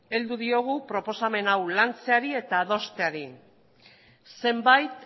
heldu diogu proposamen hau lantzeari eta adosteari zenbait